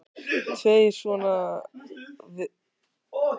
Tveir sona Jóns hafa verið miklir athafnamenn á Eskifirði, þeir